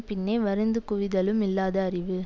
பின்னே வருந்துக் குவிதலும் இல்லாத அறிவு